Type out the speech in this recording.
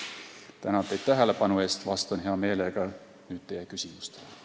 Tänan teid tähelepanu eest ja vastan nüüd hea meelega teie küsimustele.